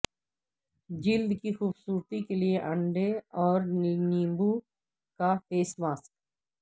جلد کی خوبصورتی کے لیے انڈے اور لیموں کا فیس ماسک